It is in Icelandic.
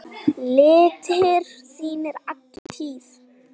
litir þínir alla tíð.